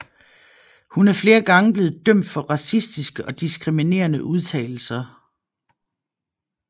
Hun er flere gange blevet dømt for racistiske og diskriminerende udtalelser